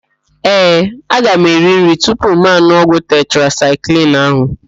Ee, aga m eri nri tupu m n̄ụọ ọgwụ tetrasaịklin ahụ.